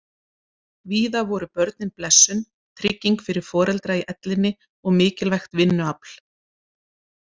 Víða voru börnin blessun, trygging fyrir foreldra í ellinni og mikilvægt vinnuafl.